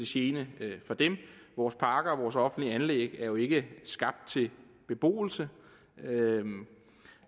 gene for dem vores parker og vores offentlige anlæg er jo ikke skabt til beboelse